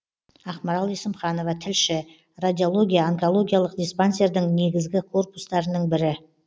ақмарал есімханова тілші радиология онкологиялық диспансердің негізгі корпустарының бірі